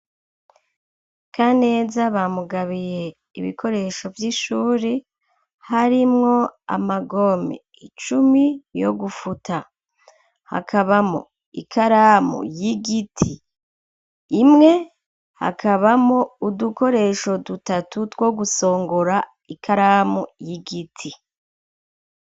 Kaneza bamugabiye ibikoresho vy'ishuri harimwo amagome icumi yo gufuta hakabamwo ikaramu y'igiti imwe hakabamwo udukoresho dutatu two gusongora ikaramu y'igiti.